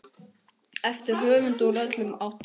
eftir höfunda úr öllum áttum.